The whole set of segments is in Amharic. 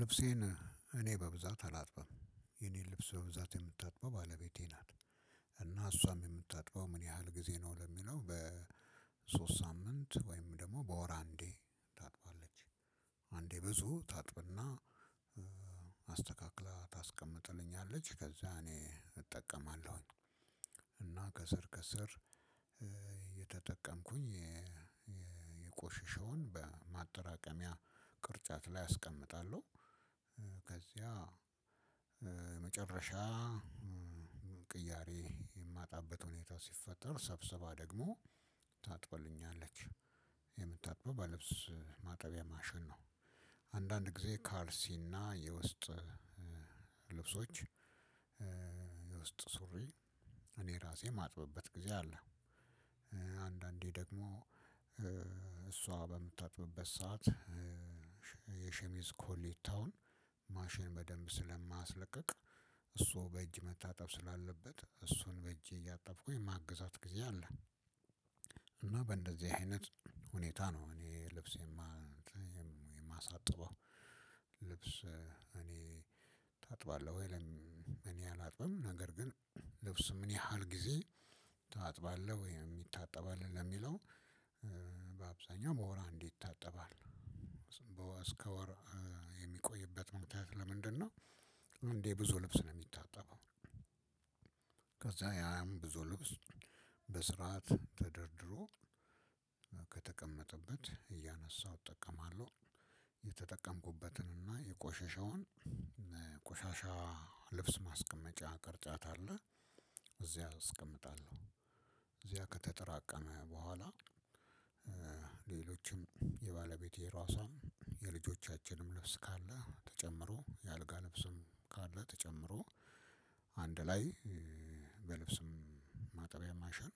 ልብሴን እኔ በብዛት አላጥባም የኔ ልብስ በብዛት የምታጥባው ባለቤቴ ናት። እና እሷም የምታጥፋው ምን ያህል ጊዜ ነው? ለሚለው በሶስት ሳምንት ወይም ደግሞ በወር አንዴ ታጥባለች። አንዴ ብዙ ታጥብና አስተካክላ ታስቀምጥልኛለች ከዛ እኔ እጠቀማለሁኝ። እና ከስር ከስር እየተጠቀምኩኝ የቆሸሸውን በማጠራቀሚያ ቅርጫት ላይ አስቀምጣለው። ከዚያ መጨረሻ ቅያሬ የማጣበት ሁኔታ ሲፈጠር ሰብስባ ደግሞ ታጥብልኛለች። የምታጥበው በልብስ ማጠቢያ ማሸን ነው። አንዳንድ ጊዜ ካርሲ እና የውስጥ ልብሶች የውስጥ ሱሪ እኔ ራሴ የማጥበበት ጊዜ አለ። አንድ አንዴ ደግሞ እሶ በምታጥብበት ሰዓት የሽሚዝ ኮሌታውን ማሽን በደንብ ስለማያስለቅቅ እሱ በእጅ መታጠብ ስላለበት እሱን በጄ እያጠብኩኝ ማግዛት ጊዜ አለ። እና በእንደዚህ አይነት ሁኔታ ነው እኔ ልብስ የማሳጥበው። ልብስ እኔ ታጥባለህ ወይ ለም እኔ አላጥበም? ነገር ግን ልብሱ ምን ያህል ጊዜ ታጥባለህ ወይ ይታጠባል ለሚለው በአብዛኛው በወር አንድ ይታጠባል። እስከ ወር የሚቆይበት ምክንያት ለምንድነው? እንዴ ብዙ ልብስ ነው የሚታጠበው። ከዛ ያም ብዙ ልብስ በስርዓት ተደርድሮ ከተቀመጠበት እያነሳሁ እጠቀማለሁ የተጠቀምኩበትን እና የቆሸሸውን ቆሻሻ ልብስ ማስቀመጫ ቅርጫት አለ። እዚያ አስቀምጣለሁ እዚያ ከተጠራቀመ በኋላ ሌሎችም የባለቤቴ ራሷን የልጆቻችንም ልብስ ካለ ተጨምሮ የአልጋ ልብስም ካለ ተጨምሮ አንድ ላይ በልብስም ማጠቢያ ማሻን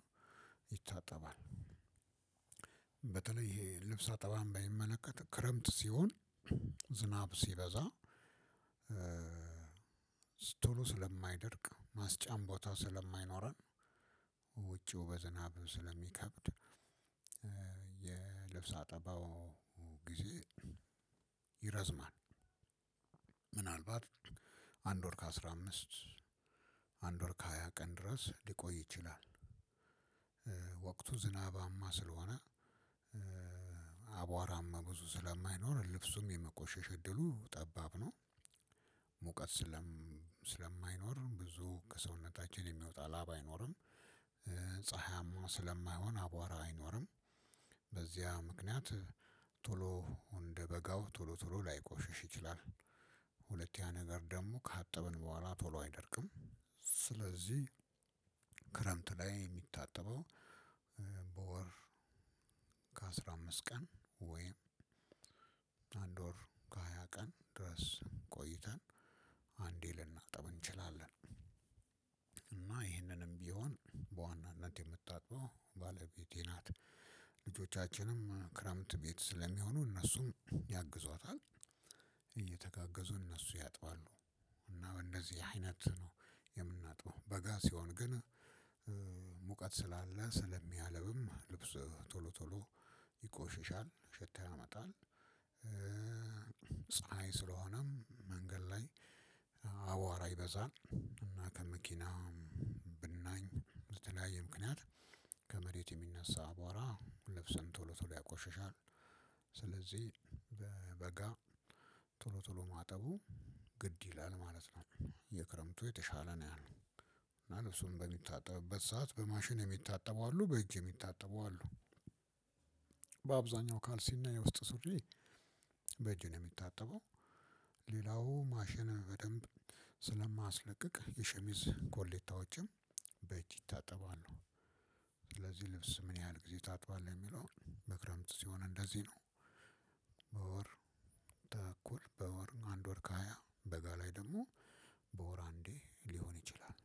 ይታጠባል። በተለይ ይሄ ልብስ አጠባብን በሚመለከት ክረምት ሲሆን ዝናብ ሲበዛ ቶሎ ስለማይደርቅ ማስጫም ቦታው ስለማይኖረን ውጪው በዝናብ ስለሚከብድ የልብስ አጠባው ጊዜ ይረዝማል። ምን አልባት አንድ ወር ከ አስራ አምስት አንድ ወር ከ ሃያ ቀን ድረስ ሊቆይ ይችላል። ወቅቱ ዝናባማ ስለሆነ አቧራም ብዙ ስለማይኖር ልብሱም የመቆሸሽ እድሉ ጠባብ ነው። ሙቀት ስለማይኖር ብዙ ከሰውነታችን የሚወጣ ላባ አይኖርም። ፀሀያማ ስለማይሆን አቧራ አይኖርም። በዚያ ምክንያት ቶሎ እንደበጋው ቶሎ ቶሎ ላይቆሽሽ ይችላል። ሁለት ያ ነገር ደግሞ ካጠብን በኋላ ቶሎ አይደርቅም። ስለዚህ ክረምት ላይ የሚታጠበው በወር ከአስራ አምስት ቀን ወይም አንድ ወር ከሃያ ቀን ድረስ ቆይተን አንዴ ልናጠብ እንችላለን። እና ይህንንም ቢሆን በዋናነት የምታጥበው ባለቤቴ ናት። ልጆቻችንም ክረምት ቤት ስለሚሆኑ እነሱም ያግዟታል። እነሱ ያጥባሉ እና እንደዚህ አይነት ነው የምናጥበው በጋ ሲሆን ግን ሙቀት ስላለ ስለሚያለብም ልብስ ቶሎ ቶሎ ይቆሽሻል ሽታ ያመጣል። ፀሀይ ስለሆነም መንገድ ላይ አቧራ ይበዛል እና ከመኪና ብናኝ በተለያየ ምክንያት ከመሬት የሚነሳ አቧራ ልብስን ቶሎ ቶሎ ያቆሸሻል። ስለዚህ በበጋ ቶሎ ቶሎ ማጠቡ ግድ ይላል ማለት ነው። የክረምቱ የተሻለ ነው ያለው። እና ልብሱም በሚታጠብበት ሰዓት በማሽን የሚታጠቡ አሉ በእጅ የሚታጠቡ አሉ። በአብዛኛው ካልሲና የውስጥ ሱሪ በእጅ ነው የሚታጠበው። ሌላው ማሽን በደንብ ስለማያስለቅቅ የሸሚዝ ኮሌታዎችም በእጅ ይታጠባሉ። ስለዚህ ልብስ ምን ያህል ጊዜ ታጥባለህ የሚለው? በክረምት ሲሆን እንደዚህ ነው። በወር ተኩል በወር አንድ ወር ከሃያ በጋ ላይ ደግሞ በወር አንዴ ሊሆን ይችላል።